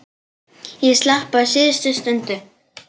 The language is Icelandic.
Ég slapp á síðustu stundu.